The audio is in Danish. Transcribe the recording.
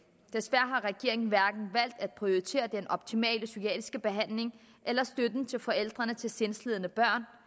desværre har regeringen hverken valgt at prioritere den optimale psykiatriske behandling eller støtte til forældrene til de sindslidende børn